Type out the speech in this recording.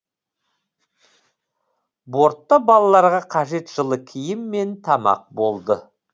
бортта балаларға қажет жылы киім мен тамақ болды